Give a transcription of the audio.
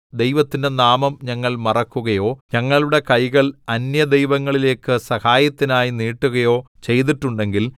ദൈവത്തിന്റെ നാമം ഞങ്ങൾ മറക്കുകയോ ഞങ്ങളുടെ കൈകൾ അന്യദൈവങ്ങളിലേക്ക് സഹായത്തിനായി നീട്ടുകയോ ചെയ്തിട്ടുണ്ടെങ്കിൽ